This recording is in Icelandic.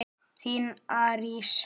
Þín Arís.